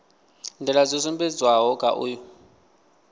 nḓila dzo sumbedzwaho kha uyu